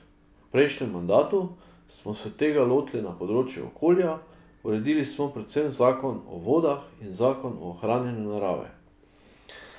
V prejšnjem mandatu smo se tega lotili na področju okolja, uredili smo predvsem zakon o vodah in zakon o ohranjanju narave.